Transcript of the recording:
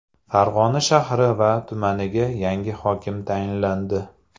Farg‘ona shahri va tumaniga yangi hokim tayinlandi.